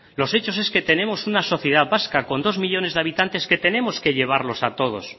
los hechos es que tenemos una sociedad vasca con dos millónes de habitantes que tenemos que llevarlos a todos